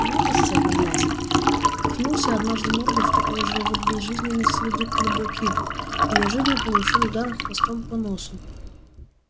в молодости одноглазый ткнулся однажды мордой в такой же вот безжизненный с виду клубок игл и неожиданно получил удар хвостом по носу